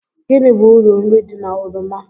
Gịnị bụ uru nri di na oroma